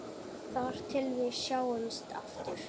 Þar til við sjáumst aftur.